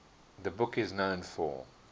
the book is known for